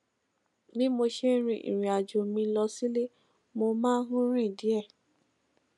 bí mo ṣe ń rin ìrìn àjò mi lọ sílé mo máa ń rìn díè